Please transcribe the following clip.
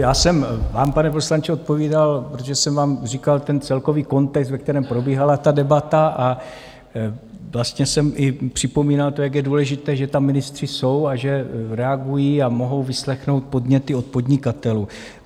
Já jsem vám, pane poslanče, odpovídal, protože jsem vám říkal ten celkový kontext, ve kterém probíhala ta debata, a vlastně jsem i připomínal to, jak je důležité, že tam ministři jsou a že reagují a mohou vyslechnout podněty od podnikatelů.